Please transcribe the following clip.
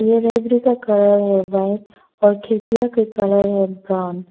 ये का कलर है व्हाइट और खिरकियां के कलर है ब्राऊन ।